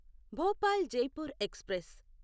Bhopal Jaipur express